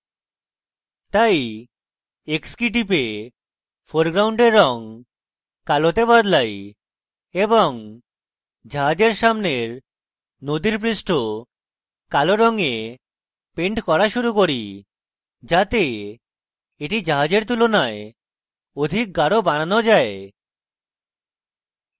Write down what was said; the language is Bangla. তাই x key টিপে ফোরগ্রাউন্ডের রঙ কালোতে বদলাই এবং জাহাজের সামনের নদীর পৃষ্ঠ কালো রঙে পেন্ট করা শুরু key যাতে এটি জাহাজের তুলনায় অধিক গাঢ় বানানো যায়